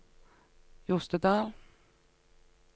Jostedal